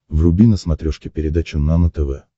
вруби на смотрешке передачу нано тв